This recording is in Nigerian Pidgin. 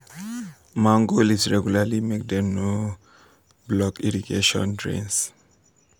mango leaves regularly make dem no block irrigation drains